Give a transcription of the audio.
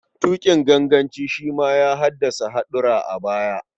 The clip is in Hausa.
Tuƙin ganganci shi ma ya haddasa haɗura a baya.